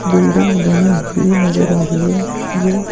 building बनी हुई नजर आ रही है ये --